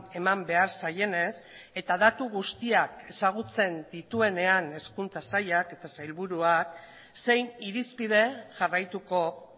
eman behar zaienez eta datu guztiak ezagutzen dituenean hezkuntza sailak eta sailburuak zein irizpide jarraituko